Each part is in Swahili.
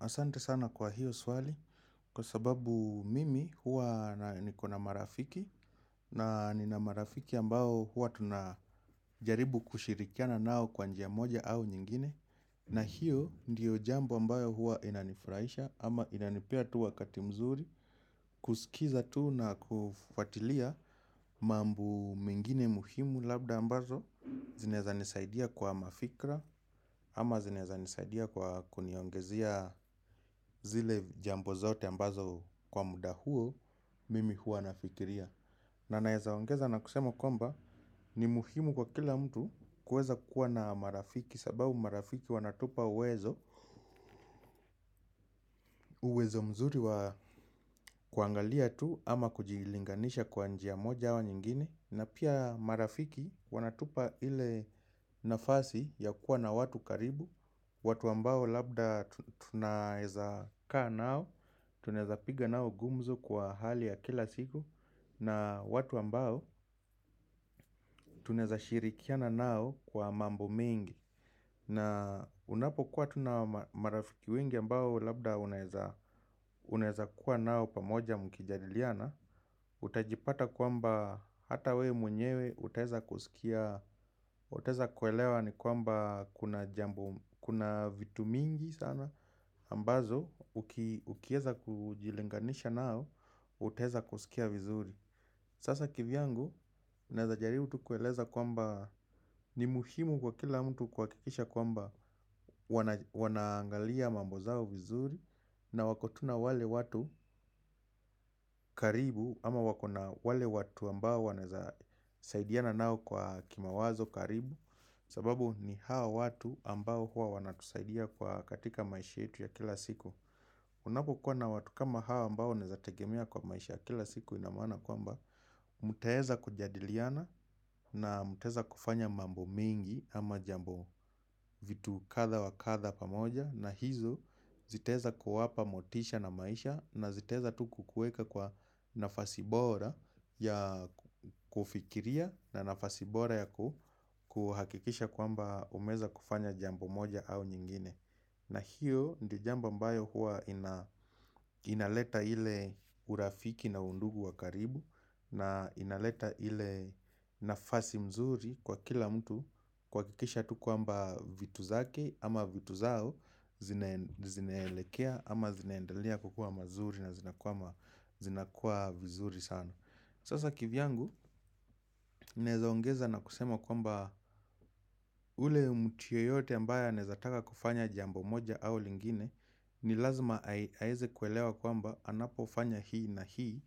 Asante sana kwa hiyo swali kwa sababu mimi huwa niko na marafiki na nina marafiki ambao huwa tunajaribu kushirikiana nao kwa njia moja au nyingine. Na hiyo ndiyo jambo ambayo huwa inanifurahisha ama inanipea tu wakati mzuri kusikiza tu na kufuatilia mambo mengine muhimu labda ambazo zinaeza nisaidia kwa mafikra ama zinaeza nisaidia kwa kuniongezea zile jambo zote ambazo kwa muda huo. Mimi huwa nafikiria. Na naeza ongeza na kusema kwamba ni muhimu kwa kila mtu kuweza kuwa na marafiki. Sababu marafiki wanatupa uwezo uwezo mzuri wa kuangalia tu ama kujilinganisha kwa njia moja au nyingine. Na pia marafiki wanatupa ile nafasi ya kuwa na watu karibu. Watu ambao labda tunaeza kaa nao. Tunaeza piga nao gumzo kwa hali ya kila siku. Na watu ambao tunaeza shirikiana nao kwa mambo mengi. Na unapokuwa tu na marafiki wengi ambao labda unaeza kuwa nao pamoja mkijadiliana. Utajipata kwamba hata we mwenyewe, utaeza kusikia, utaeza kuelewa ni kwamba kuna jambo kuna vitu mingi sana ambazo, ukieza kujilinganisha nao, utaeza kusikia vizuri. Sasa kivyangu, naeza jaribu tu kueleza kwamba ni muhimu kwa kila mtu kuhakikisha kwamba wanaangalia mambo zao vizuri na wako tu na wale watu karibu ama wako na wale watu ambao wanaeza saidiana nao kwa kimawazo karibu. Sababu ni hao watu ambao huwa wanatusaidia kwa katika maisha yetu ya kila siku. Unapokuwa na watu kama hao ambao unaeza tegemea kwa maisha ya kila siku ina maana kwamba mtaeza kujadiliana na mtaeza kufanya mambo mingi ama jambo vitu kadha wa kadha pamoja. Na hizo zitaeza kuwapa motisha na maisha na zitaeza tu kukuweka kwa nafasi bora ya kufikiria na nafasi bora ya kuhakikisha kwamba umeeza kufanya jambo moja au nyingine. Na hiyo ndio ambayo huwa inaleta ile urafiki na undugu wa karibu na inaleta ile nafasi mzuri kwa kila mtu kuhakikisha tu kwamba vitu zake ama vitu zao zinaelekea ama zinaendelea kukuwa mazuri na zinakuwa vizuri sana. Sasa kivyangu, naeza ongeza na kusema kwamba ule mtu yeyote ambaye anaeza taka kufanya jambo moja au lingine, ni lazima aeze kuelewa kwamba anapofanya hii na hii,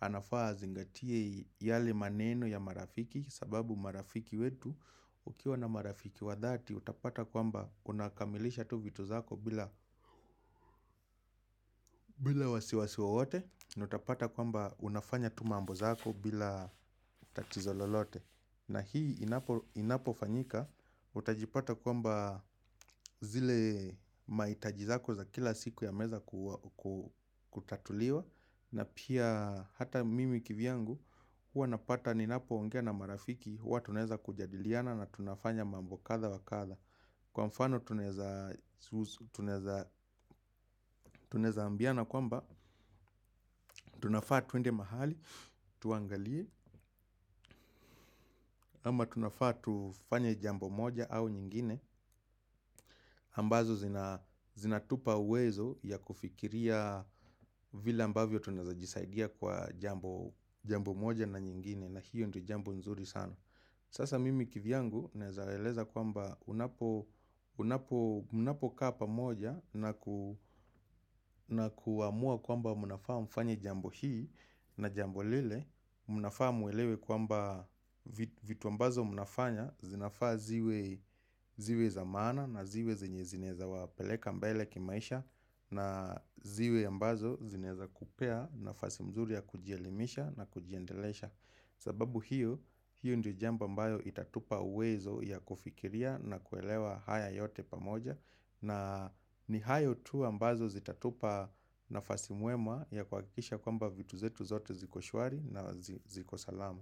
anafaa azingatie yale maneno ya marafiki sababu marafiki wetu, ukiwa na marafiki wa dhati, utapata kwamba unakamilisha tu vitu zako bila bila wasiwasi wowote na utapata kwamba unafanya tu mambo zako bila tatizo lolote. Na hii inapofanyika, utajipata kwamba zile mahitaji zako za kila siku yameeza kutatuliwa. Na pia hata mimi kivyangu huwa napata ninapoongea na marafiki. Huwa tunaeza kujadiliana na tunafanya mambo kadha wa kadha. Kwa mfano tunaeza tunaeza ambiana kwamba tunafaa twende mahali, tuangalie ama tunafaa tufanye jambo moja au nyingine ambazo zinatupa uwezo ya kufikiria vile ambavyo tunaeza jisaidia kwa jambo moja na nyingine. Na hiyo ndio jambo nzuri sana. Sasa mimi kivyangu naeza waeleza kwamba unapo mnapokaa pamoja na ku na kuamua kwamba mnafaa mfanye jambo hii na jambo lile unafaa mwelewe kwamba vitu ambazo mnafanya zinafaa ziwe za maana na ziwe zenye zinaeza wapeleka mbele kimaisha. Na ziwe ambazo zinaeza kupea nafasi mzuri ya kujielimisha na kujiendelesha. Sababu hiyo, hiyo ndiyo jambo ambayo itatupa uwezo ya kufikiria na kuelewa haya yote pamoja. Na ni hayo tu ambazo zitatupa nafasi mwema ya kuhakikisha kwamba vitu zetu zote ziko shwari na ziko salama.